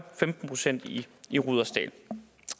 femten procent i i rudersdal